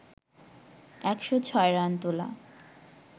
১০৬ run তোলা